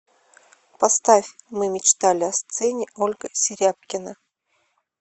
поставь мы мечтали о сцене ольга серябкина